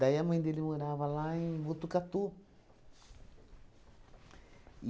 Daí a mãe dele morava lá em Botucatu.